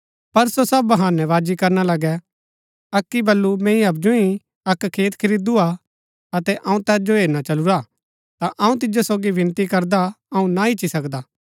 पर सो सब बहानै बाजी करना लगै अक्की बल्लू मैंई हवजु ही अक्क खेत खरीदू हा अतै अऊँ तैत जो हेरना चलुरा हा ता अऊँ तिजो सोगी विनती करदा अऊँ ना ईच्ची सकदा